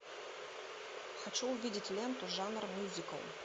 хочу увидеть ленту жанр мюзикл